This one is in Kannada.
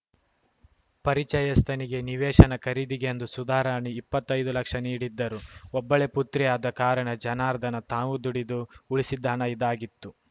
ಪರಿಚಯಸ್ಥನಿಗೆ ನಿವೇಶನ ಖರೀದಿಗೆಂದು ಸುಧಾರಾಣಿ ಇಪ್ಪತ್ತೈದು ಲಕ್ಷ ನೀಡಿದ್ದರು ಒಬ್ಬಳೇ ಪುತ್ರಿಯಾದ ಕಾರಣ ಜನಾರ್ದನ ತಾವು ದುಡಿದು ಉಳಿಸಿದ್ದ ಹಣ ಇದಾಗಿತ್ತು